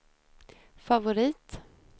favorit